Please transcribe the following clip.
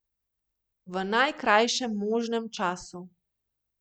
V najkrajšem možnem času.